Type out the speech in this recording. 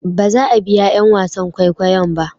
baza a biya 'yan wasan kwaikwayon ba